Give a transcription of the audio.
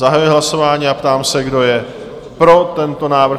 Zahajuji hlasování a ptám se, kdo je pro tento návrh?